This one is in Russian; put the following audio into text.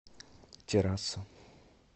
террасса